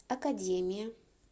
академия